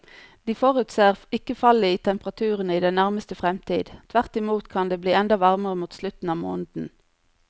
De forutser ikke fall i temperaturene i den nærmeste fremtid, tvert imot kan det bli enda varmere mot slutten av måneden.